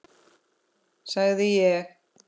sagði ég.